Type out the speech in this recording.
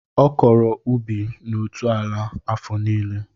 Ọ kọrọ ubi na otu ala afọ nílé